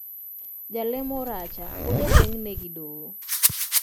Jalemo Oracha pod ogenge ne gi doho